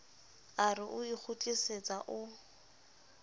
a re o ikgutlisetsa o